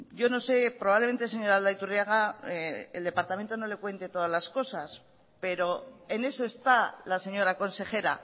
yo no sé probablemente señora aldaiturriaga el departamento no le cuente todas las cosas pero en eso está la señora consejera